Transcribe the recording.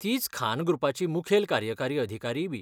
तीच खान ग्रुपाची मुखेल कार्यकारी अधिकारीयबी.